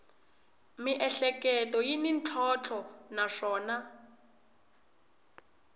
miehleketo yi na ntlhontlho naswona